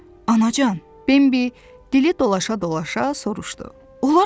Anacan, Bambi dili dolaşa-dolaşa soruşdu.